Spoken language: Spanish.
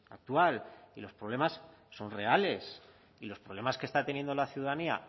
actual y los problemas son reales y los problemas que está teniendo la ciudadanía